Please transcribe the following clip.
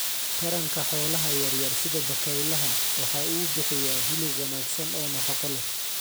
Taranka xoolaha yaryar sida bakaylaha waxa uu bixiyaa hilib wanaagsan oo nafaqo leh.